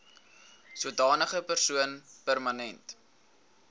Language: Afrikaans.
sodanige persoon permanent